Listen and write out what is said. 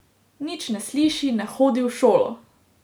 Nič ne sliši, ne hodi v šolo!